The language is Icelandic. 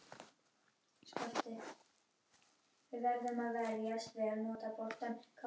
Beta-karótín virðist hamla myndun krabbameins, en einungis þegar það fæst úr venjulegum mat.